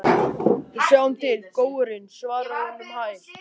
Við sjáum til, góurinn, svarar hún um hæl.